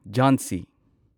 ꯓꯥꯟꯁꯤ